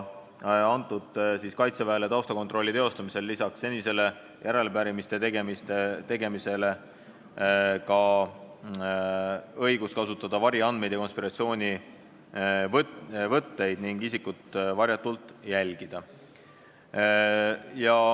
" Kirjas öeldi, et eelnõuga on Kaitseväele taustakontrolli tegemiseks antud lisaks senisele järelepärimiste tegemise õigusele ka õigus kasutada variandmeid ja konspiratsioonivõtteid ning isikut varjatult jälgida.